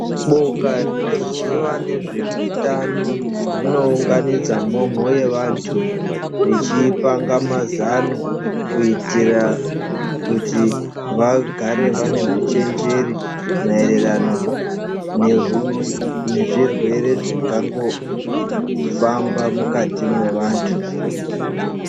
Boka rinoziwa nezvehutano rinounganidza mhomho yevantu vechiipanga mazanu kutiria kuti vagare vame huchenjeri marerano nehuu nezvirwere zvingangofamba mukati mwevantu.